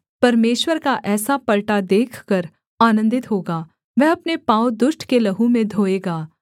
परमेश्वर का ऐसा पलटा देखकर आनन्दित होगा वह अपने पाँव दुष्ट के लहू में धोएगा